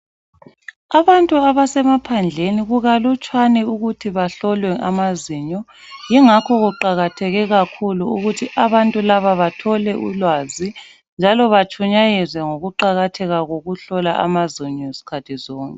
Abantu abasemaphandleni, kukalutshwane ukuthi bahlolwe amazinyo. Ingakho kuqakatheke kakhulu ukuthi abantu laba bathole ulwazi. Njalo batshunyayezwe ngokuqakatheka kokuhlolwa amazinyo zikhathi zonke.